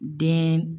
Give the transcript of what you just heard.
Den